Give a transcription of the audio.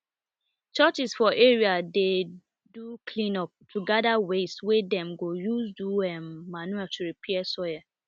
churches for area dey do cleanup to gather waste wey dem go use do um manure to repair soil